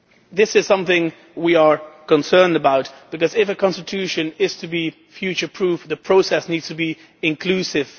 This is something we are concerned about because, if a constitution is to be future proof, the process needs to be inclusive.